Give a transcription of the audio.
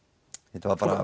þetta var bara